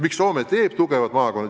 Miks Soome teeb tugevad maakonnad?